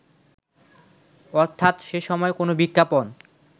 অর্থাৎ সেসময় কোন বিজ্ঞাপন